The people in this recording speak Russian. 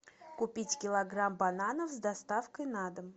купить килограмм бананов с доставкой на дом